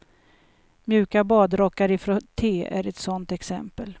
Mjuka badrockar i frotté är ett sådant exempel.